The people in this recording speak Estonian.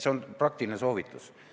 See on praktiline soovitus.